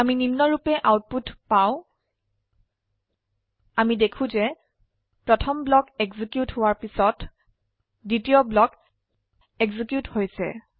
আমি নিম্নৰুপে আউটপুট পাউ160 আমি দেখো যে প্ৰথম ব্লক এক্সিকিউট হোৱাৰ পিছত দ্বিতীয় ব্লক এক্সিকিউট হৈছে